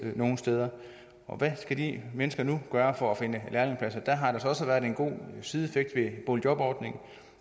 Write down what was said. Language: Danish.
nogle steder hvad skal de mennesker nu gøre for at finde lærepladser der har altså været en god sideeffekt ved boligjobordningen